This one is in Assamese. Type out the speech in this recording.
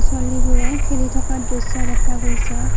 ছোৱালীবোৰে খেলি থকা দৃশ্য দেখা গৈছে।